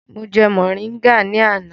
Mo jẹ mọ̀ríngà ní àná.